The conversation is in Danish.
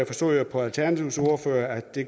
forstod jeg på alternativets ordfører at de